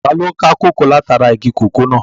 Taló n ká kòkó látara igi kòkó náà?